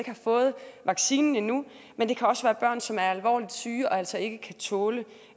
har fået vaccinen endnu men det kan også være børn som er alvorligt syge og altså ikke kan tåle